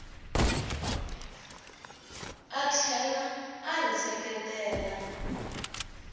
a tlhela a ri seketela